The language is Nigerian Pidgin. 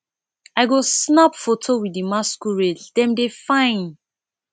i go snap foto with di masquerades dem dey fine